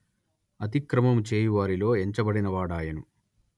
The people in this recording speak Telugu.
అతిక్రమము చేయువారిలో ఎంచబడినవాడాయెను